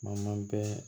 Ma bɛɛ